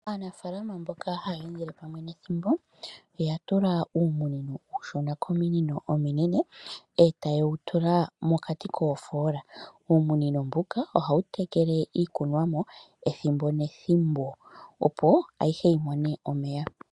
Aanafalama mboka haye endele pamwe netimbo oya tula uumunino uushona kominino ominene etayewu tula mokati koofola, uumunino mbuka ohawu tekele iikunwamo ethimbo nethimbo opo ayihe yi mone omeya.